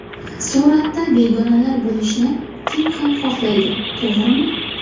Suratda begonalar bo‘lishini kim ham xohlaydi, to‘g‘rimi?